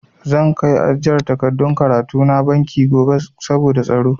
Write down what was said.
Zan kai ajiyar takardun karatu na banki gobe saboda tsaro.